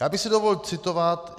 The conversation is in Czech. Já bych si dovolil citovat.